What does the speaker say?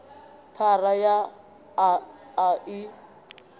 phara ya a a i